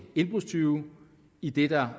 indbrudstyve idet der